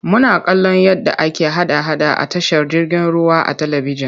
Muna kallon yadda ake hada-hada a tashar jirgin ruwa a talibijin.